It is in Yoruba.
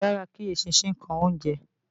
Kò dára kí eṣinṣin kan oúnjẹ